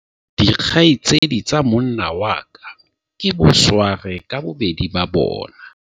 dikgaitsedi tsa monna wa ka ke bosware ka bobedi ba bona